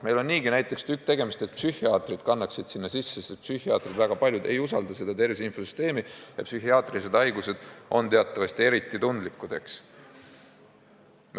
Meil on niigi tükk tegemist, et näiteks psühhiaatrid kannaksid sinna andmeid sisse, sest väga paljud psühhiaatrid ei usalda tervise infosüsteemi ja psühhiaatrilisi haigusi puudutav info on teatavasti eriti tundlik.